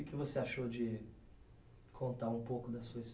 E o que você achou de contar um pouco da sua